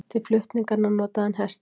Til flutninganna notaði hann hesta.